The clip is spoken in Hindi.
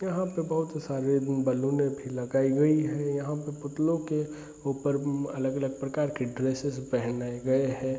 यहाँ पे बहुत सारे बैलून भी लगाई गई हैं। यहाँ पे पुतलों के ऊपर मम अलग-अलग प्रकार के ड्रेसेस पहनाए गए हैं।